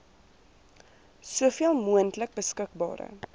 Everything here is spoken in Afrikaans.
soveel moontlik beskikbare